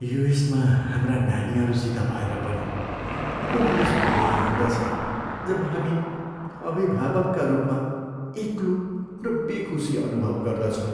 युएसमा हाम्रा नानीहरूसित भएर पनि कुनै यस्तो बेला आउँदछ जब हामी अभिभावकका रूपमा एक्लो र बेखुसी अनुभव गर्दछौँ।